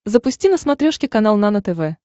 запусти на смотрешке канал нано тв